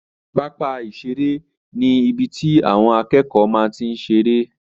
Pápá ìseré ni ibi tí àwọn akẹ́kọ̀ọ́ máa n tí seré